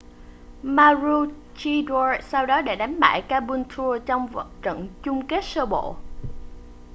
maroochydore sau đó đã đánh bại caboolture trong trận chung kết sơ bộ